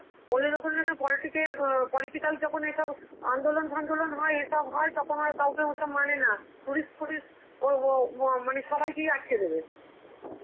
ওদের ওখানে যখন politic এর~ অ্যাঁ political যখন এসব আন্দোলন ফান্দোলন হয় এসব হয়, তখন আর কাউকে ওসব মানে না, tourist ফুরিস্ট ওর উঃ মানে সবাইকে আটকে দেবে.